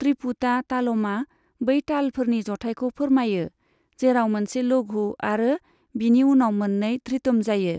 त्रिपुटा तालमआ बै तालफोरनि जथायखौ फोरमायो, जेराव मोनसे लघु आरो बिनि उनाव मोननै धृतम जायो।